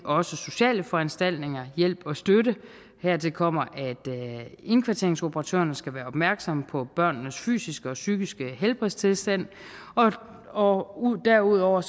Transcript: også sociale foranstaltninger hjælp og støtte hertil kommer at indkvarteringsoperatørerne skal være opmærksomme på børnenes fysiske og psykiske helbredstilstand og og derudover